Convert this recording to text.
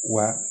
Wa